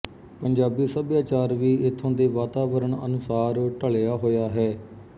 ਪੰਜਾਬੀ ਸਭਿਆਚਾਰ ਵੀ ਇਥੋਂ ਦੇ ਵਾਤਾਵਰਣ ਅਨੁਸਾਰ ਢਲਿਆ ਹੋਇਆ ਹੈ